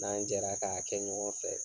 N'an jɛra k'a kɛ ɲɔgɔn fɛ.